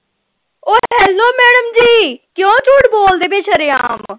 ਉਹ hello madam ji ਕਿਉਂ ਝੂਠ ਬੋਲਦੇ ਪਏ ਸ਼ਰੇਆਮ